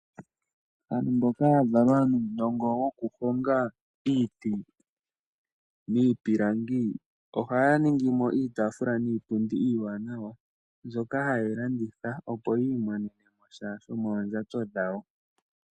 Aantu mboka ya valwa nuu nongo woku honga iiti , iipilangi oha ya ningi mo iitaafula nii pundi iiwaanawa ndjoka hayeyi landitha opo yii monene mo sha sho mondjato dhawo.